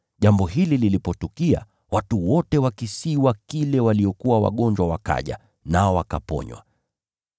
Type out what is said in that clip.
Jambo hili lilipotukia, watu wote wa kisiwa kile waliokuwa wagonjwa wakaja, nao wakaponywa.